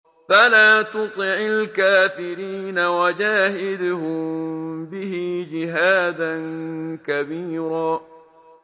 فَلَا تُطِعِ الْكَافِرِينَ وَجَاهِدْهُم بِهِ جِهَادًا كَبِيرًا